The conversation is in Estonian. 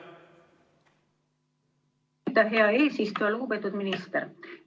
Lugupeetud minister!